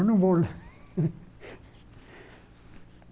Eu não vou lá.